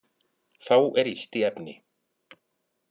Þá er illt í efni